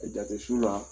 Jate su la